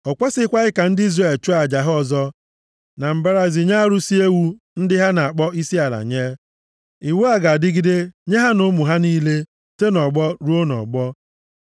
O kwesikwaghị ka ndị Izrel chụọ aja ha ọzọ na mbara ezi nye arụsị ewu ndị ha na-akpọ isiala nye. Iwu a ga-adịgide nye ha na ụmụ ha niile, site nʼọgbọ ruo nʼọgbọ.’